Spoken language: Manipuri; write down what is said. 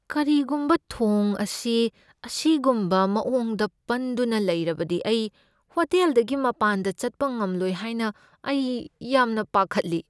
ꯀꯔꯤꯒꯨꯝꯕ ꯊꯣꯡ ꯑꯁꯤ ꯑꯁꯤꯒꯨꯝꯕ ꯃꯑꯣꯡꯗ ꯄꯟꯗꯨꯅ ꯂꯩꯔꯕꯗꯤ ꯑꯩ ꯍꯣꯇꯦꯜꯗꯒꯤ ꯃꯄꯥꯟꯗ ꯆꯠꯄ ꯉꯝꯂꯣꯏ ꯍꯥꯏꯅ ꯑꯩ ꯌꯥꯝꯅ ꯄꯥꯈꯠꯂꯤ꯫